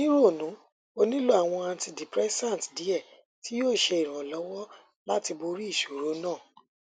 ni ronu o nilo awọn antidepressant diẹ ti yoo ṣe iranlọwọ lati bori iṣoro naa